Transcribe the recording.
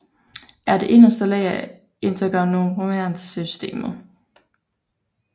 Er det inderste lag af integumentærsystemet